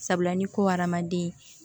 Sabula ni ko hadamaden